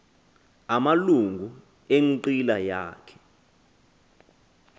amalungu enqila yakhe